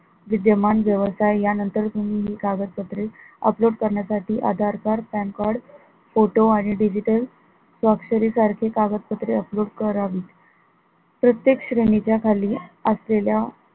विद्यमान व्यवसाय यानंतर संबंधित कागदपत्रे upload करण्यासाठी Aadhaar card PAN card photo आणि digital स्वाक्षरी सारखे कागदपत्रे upload करावी प्रत्येक श्रेणी च्या खाली असलेल्या